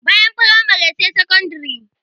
Bayan firamare sai sakandire.